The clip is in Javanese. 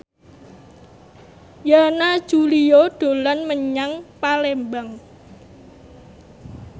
Yana Julio dolan menyang Palembang